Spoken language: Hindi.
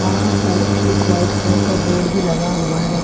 वहां पर एक वाइट कलर का बोर्ड भी लगा हुआ है।